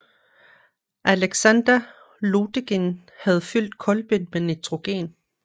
Alexander Lodygin havde fyldt kolben med nitrogen